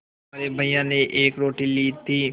तुम्हारे भैया ने एक रोटी ली थी